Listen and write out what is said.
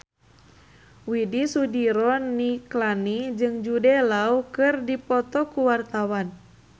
Widy Soediro Nichlany jeung Jude Law keur dipoto ku wartawan